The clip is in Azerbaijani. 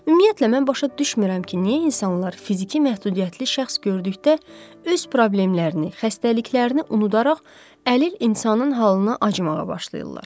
Ümumiyyətlə, mən başa düşmürəm ki, niyə insanlar fiziki məhdudiyyətli şəxs gördükdə öz problemlərini, xəstəliklərini unudaraq əlil insanın halına acımağa başlayırlar.